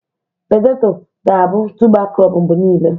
Petetọ ga-abụ tụba krọp mgbe niile.